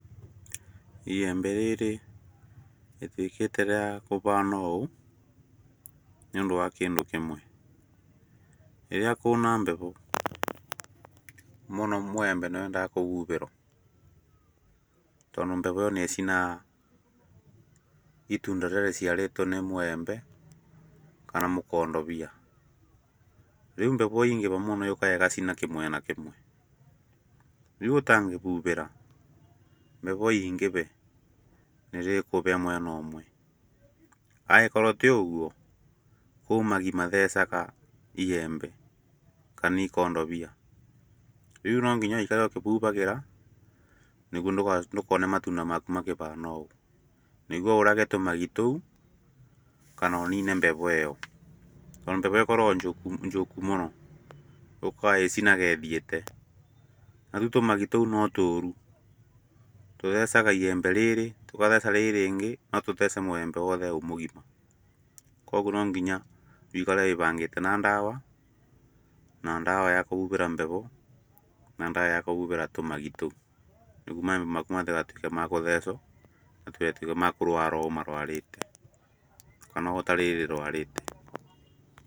Iyembe rĩrĩ rĩtuĩkĩte rĩa kubana ũũ nĩ ũndũ wa kĩndũ kĩmwe rĩrĩa kwĩna mbegũ mũno mwiyembe nĩ wendaga kũbubĩrwo. Tondũ mbegũ ĩyo nĩ ĩcinaga itunda rĩrĩa rĩciarĩtwo nĩ mũembe kana mũkondobia. Rĩu mbegũ yaingĩha muno yũkgaga ĩgacina kĩmwena kĩmwe, rĩu ũtangĩbubĩra mbegũ ĩingĩbe nĩ rĩkũbĩa mwena ũmwe. Angĩkorwo ti ũgwo kwĩ magi mathecaga iyembe kana ikondobia rĩu no nginya wũikare ũkĩbubagira nĩ guo ndukone matunda maku makĩbana ũũ nĩguo ũrage tũmagi tũu kana unine mbegũ ĩyo. Tondũ mbegũ ĩkoragwo njũku mũno üũkga ĩcinaga ĩthiĩte narĩu tũmagi tũu no tũru, tũthecaga iyembe rĩrĩ tũgatheca rĩrĩ rĩngĩ no tũthece mũyembe wothe wĩ mũgima. Koguo no nginya wũikare wĩbangĩte na ndawa, na ndawa ya kũbubĩra mbegũ na ndawa ya kũbubĩra tumagi tũu. Nĩguo maembe maku matigatuĩke makũthecwo matigatuĩke makũrwara ũũ marwarĩte kana toũ rĩri rĩrwarĩte.